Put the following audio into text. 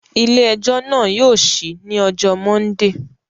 Ile-ẹjọ naa yóò ṣii ni ọjọ Mọndee